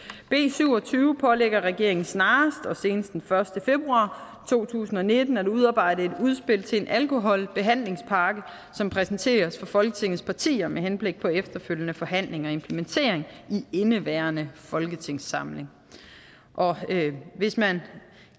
syv og tyve pålægger regeringen snarest og senest den første februar to tusind og nitten at udarbejde et udspil til en alkoholbehandlingspakke som præsenteres for folketingets partier med henblik på efterfølgende forhandling og implementering i indeværende folketingssamling hvis man